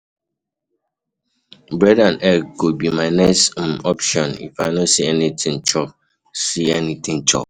Bread and egg go be my next um option if I no see anything chop. see anything chop.